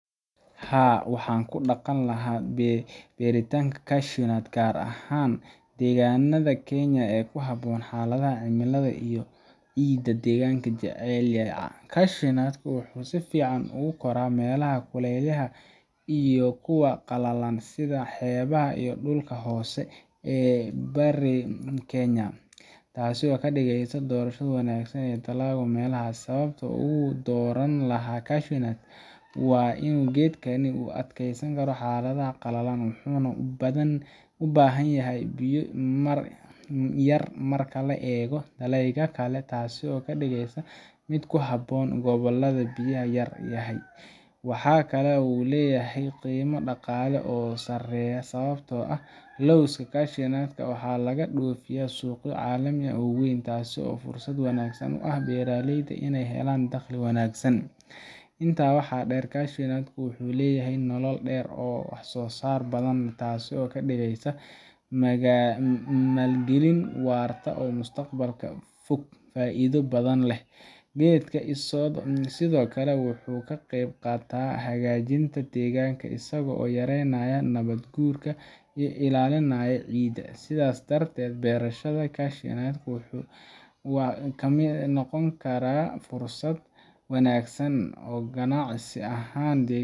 Haa, waxaan ku dhaqan lahaa beeritaanka cashewnuts gaar ahaan deegaanada Kenya ee ku habboon xaaladaha cimilada iyo ciidda ee geedkani jecel yahay. cashewnuts-ka wuxuu si fiican uga koraa meelaha kuleylaha ah iyo kuwa qalalan, sida xeebaha iyo dhulka hoose ee bariga Kenya, taasoo ka dhigaysa doorasho wanaagsan oo dalag ah meelahaas. Sababta aan ugu dooran lahaa cashewnuts-ka waa in geedkani u adkeysan karo xaaladaha qallalan, wuxuuna u baahan yahay biyo yar marka loo eego dalagyada kale, taasoo ka dhigaysa mid ku habboon gobollada biyaha yar yahay. Waxa kale oo uu leeyahay qiimo dhaqaale oo sareeya sababtoo ah lowska cashewnuts-ka waxaa laga dhoofiyaa suuqyo caalami ah oo weyn, taasoo fursad wanaagsan u ah beeraleyda inay helaan dakhli wanaagsan. Intaa waxaa dheer, cashewnuts-ka wuxuu leeyahay nolol dheer oo wax-soo-saar badan, taasoo ka dhigaysa maalgelin waarta oo mustaqbalka fog faa’iido badan leh. Geedka sidoo kale wuxuu ka qayb qaataa hagaajinta deegaanka, isagoo yaraynaya nabaad-guurka iyo ilaalinaya ciidda. Sidaa darteed, beerashada cashewnuts-ka waxay noqon kartaa fursad wanaagsan oo ganacsi ahan